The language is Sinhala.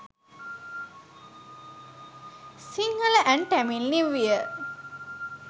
sinhala and tamil new year